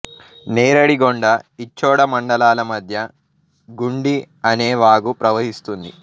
నేరడిగొండ ఇచ్చోడ మండలాల మధ్య గుండి అనే వాగు ప్రవహిస్తుంది